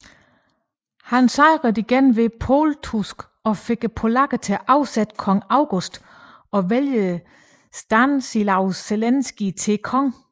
Han sejrede på ny ved Pultusk og fik polakkerne til at afsætte kong August og vælge Stanislaus Leszinski til konge